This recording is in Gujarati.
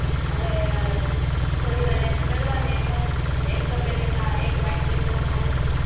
હવે થોડી વાર એને ચડવા દે એમજ અને એક તપેલી મા એક વાટકી ચોખા લે